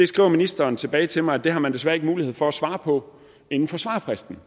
skriver ministeren tilbage til mig at det har man desværre ikke mulighed for at svare på inden for svarfristen